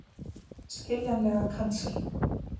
Skiljanlega kannski.